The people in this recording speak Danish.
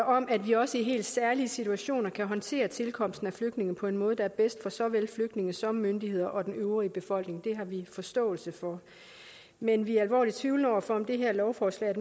om at vi også i helt særlige situationer kan håndtere tilkomsten af flygtninge på en måde der er bedst for såvel flygtninge som myndigheder og den øvrige befolkning det har vi forståelse for men vi er alvorligt tvivlende over for om det her lovforslag